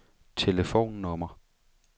telefonnummer